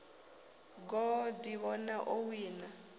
goo a ḓivhona o wina